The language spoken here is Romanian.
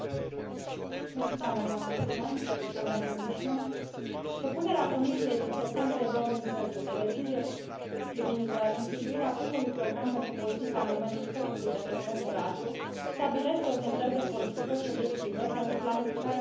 Propunerea Comisiei din septembrie 2010 de decizie privind instituirea primului program pentru politica în domeniul spectrului de frecvențe radio stabilește orientări de politică și obiective pentru planificarea strategică și armonizarea utilizării spectrului radio până în